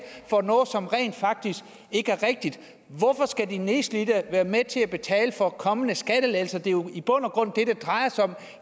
for noget som rent faktisk ikke er rigtigt hvorfor skal de nedslidte være med til at betale for kommende skattelettelser for det er jo i bund og grund det det drejer sig om